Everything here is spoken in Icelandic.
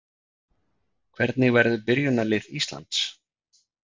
Hvernig verður byrjunarlið Íslands?